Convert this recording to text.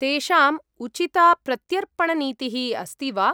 तेषाम् उचिता प्रत्यर्पणनीतिः अस्ति वा?